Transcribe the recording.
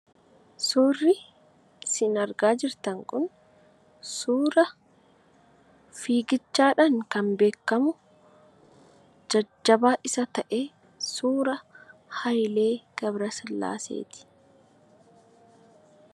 Suurri isin argaa jirtan kun suura fiigichaan kan beekamu, jajjabaa isa ta'e, suuraa Haayilee Gabrasillaasee ti.